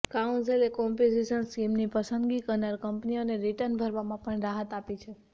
કાઉન્સિલે composition સ્કીમની પસંદગી કરનાર કંપનીઓને રિટર્ન ભરવામાં પણ રાહત આપી છે